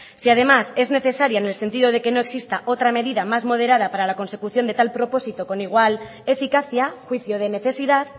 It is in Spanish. si además es necesaria en el sentido de que no exista otra medida más moderada para la consecución de tal propósito con igual eficacia juicio de necesidad